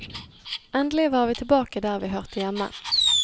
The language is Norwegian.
Endelig var vi tilbake der vi hørte hjemme.